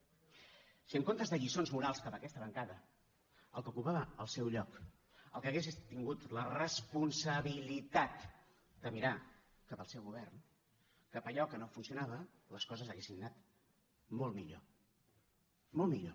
si en comptes de lliçons morals cap a aquesta bancada el que ocupava el seu lloc el que hagués és tingut la responsabilitat de mirar cap al seu govern cap allò que no funcionava les coses haurien anat molt millor molt millor